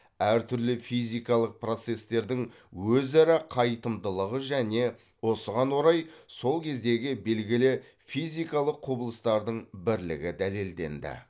әр түрлі физикалық процестердің өзара қайтымдылығы және осыған орай сол кездегі белгілі физикалық құбылыстардың бірлігі дәлелденді